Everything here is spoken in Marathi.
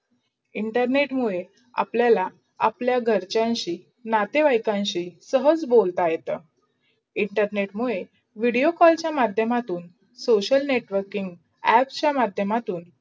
internet मुडे आपलायला अप्लाया घरचांशि, नाते वैनशी सहस बोलता येतो. internet मुडे video call चा माध्य्यमातून social networkin, apps चा माध्य्यमातून